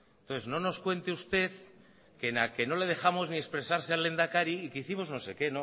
entonces no nos cuente usted que no le dejamos ni expresarse al lehendakari y que hicimos no sé qué